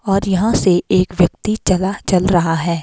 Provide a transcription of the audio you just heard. और यहां से एक व्यक्ति चला चल रहा है।